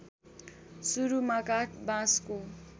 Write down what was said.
सुरूमा काठ बाँसको